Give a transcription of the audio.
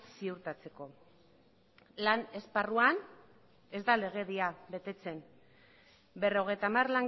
ziurtatzeko lan esparruan ez da legedia betetzen berrogeita hamar